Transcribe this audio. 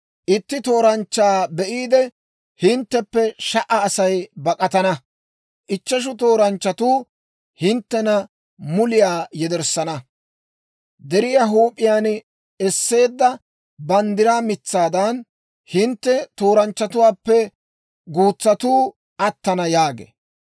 Itti tooranchchaa be'iide, hintteppe sha"a Asay bak'atana; ichcheshu tooranchchatu hinttena muliyaa yederssana. Deriyaa huup'iyaan esseedda banddiraa mitsaadan, hintte tooranchchatuwaappe guutsatuu attana» yaagee.